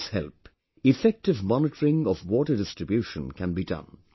With its help, effective monitoring of water distribution can be done